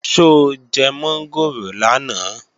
Ṣó jẹ mọ́ngòrò lánàá?